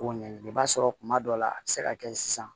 Ko ɲɛɲini i b'a sɔrɔ kuma dɔw la a bɛ se ka kɛ sisan